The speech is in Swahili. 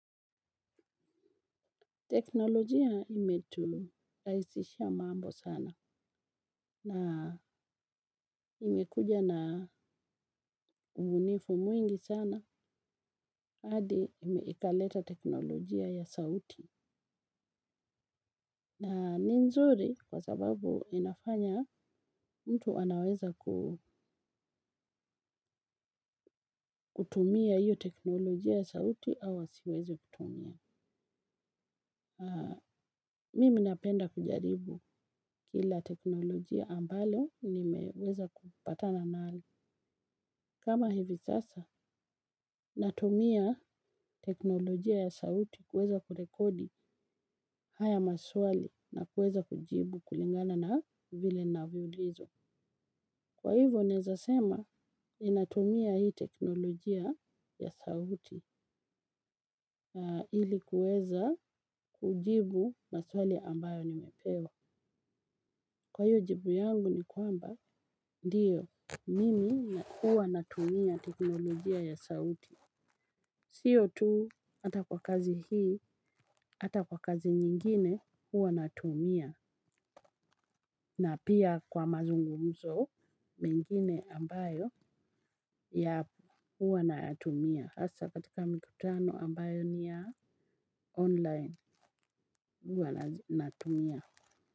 Teknolojia imeturahisishia mambo sana na imekuja na ubunifu mwingi sana hadi ikaleta teknolojia ya sauti. Na ni nzuri kwa sababu inafanya mtu anaweza ku. Kutumia hiyo teknolojia ya sauti au asiweze kutumia. Mimi napenda kujaribu kila teknolojia ambalo nimeweza kupatana nalo. Kama hivi sasa, natumia teknolojia ya sauti kuweza kurekodi haya maswali na kuweza kujibu kulingana na vile ninavyolizwa. Kwa hivyo, newezasema, ninatumia hii teknolojia ya sauti ili kuweza kujibu maswali ambayo nimepewa. Kwa hivyo jibu yangu ni kwamba, ndiyo, mimi nakua natumia teknolojia ya sauti. Sio tu hata kwa kazi hii hata kwa kazi nyingine huwa natumia na pia kwa mazungumzo. Mengine ambayo ya huwa natumia hasa katika mikutano ambayo nivya online huwa natumia.